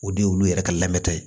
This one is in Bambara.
O de ye olu yɛrɛ ka lamɛntɔ ye